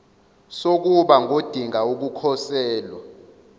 sokuba ngodinga ukukhosela